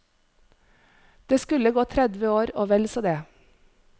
Det skulle gå tredve år og vel så det.